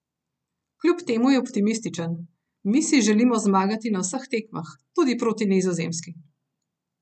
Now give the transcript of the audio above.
Kljub temu je optimističen: "Mi si želimo zmagati na vseh tekmah, tudi proti Nizozemski.